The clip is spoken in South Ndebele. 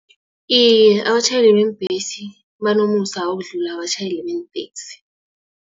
Iye, abatjhayeli beembhesi banomusa ukudlula abatjhayeli benteksi